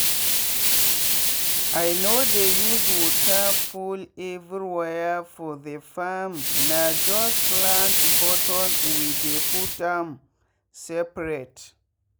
i no dey use water full everywhere for the farmna just plant bottom we dey put am seperate.